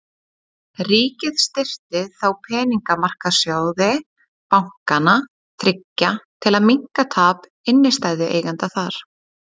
Ríkið styrkti þó peningamarkaðssjóði bankanna þriggja til að minnka tap innstæðueigenda þar.